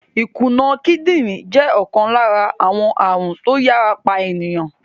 Ìkùna kídìrín jẹ́ ọ̀kan lára àwọn ààrùn tó yàrá pa ènìyàn.